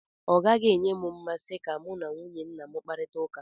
Ọ gaghị enye m mmasị ka mụ na nwunye nna m kparita ụka.